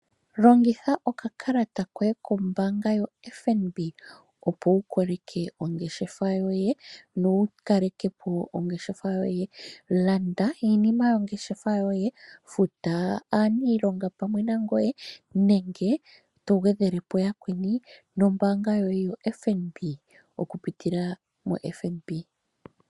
Longitha okakalata koye kombaanga yoFNB, opo wu koleke ongeshefa yoye nowu kaleke po ongeshefa yoye. Landa iinima yongeshefa yoye, futa aaniilonga pamwe nangoye, nenge to gwedhele po yakweni nombaanga yoye yoFNB, okupitila moFNB.